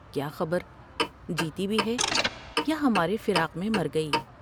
کیا خبر جیتی بھی ہے یا ہمارے فراق میں مر گئی ۔